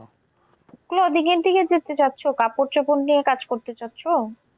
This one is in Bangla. Clothing এর দিকে যেতে চাচ্ছ, কাপড় চোপড় নিয়ে কাজ করতে চাচ্ছ?